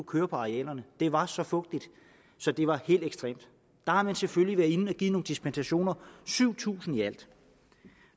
køre på arealerne det var så fugtigt så det var helt ekstremt der har man selvfølgelig været inde og give nogle dispensationer syv tusind i alt